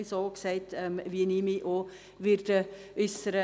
Es ging in die Richtung, wie ich mich äussern werde.